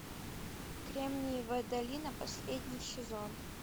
кремниевая долина последний сезон